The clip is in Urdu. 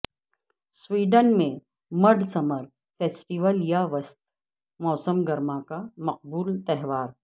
سویڈن میں مڈ سمر فیسٹویل یا وسط موسم گرما کا مقبول تہوار